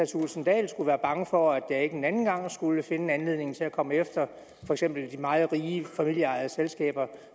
thulesen dahl skulle være bange for at jeg en anden gang ikke skulle finde en anledning til at komme efter for eksempel de meget rige familieejede selskaber